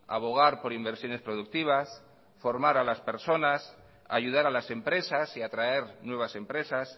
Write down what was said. abogar por inversiones productivas formar a las personas ayudar a las empresas y atraer nuevas empresas